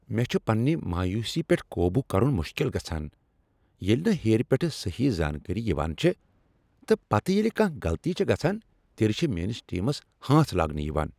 مےٚ چھ پننہ مایوسی پیٹھ قابو کرن مشکل گژھان ییٚلہ نہٕ ہیٚر پیٹھٕ صحیح زانکٲری یوان چھےٚ تہٕ پتہٕ ییٚلہ کانٛہہ غلطی چھےٚ گژھان تیٚلہ چھ میٲنس ٹیمس ہانٛژ لاگنہٕ یوان۔